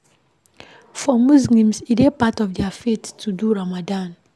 For muslims, e dey part of their faith to do ramadan